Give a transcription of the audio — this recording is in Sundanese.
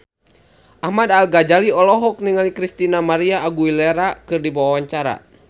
Ahmad Al-Ghazali olohok ningali Christina María Aguilera keur diwawancara